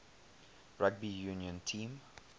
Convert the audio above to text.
rugby union team